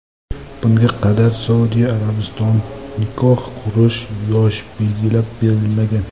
Bunga qadar Saudiya Arabistonida nikoh qurish yoshi belgilab berilmagan.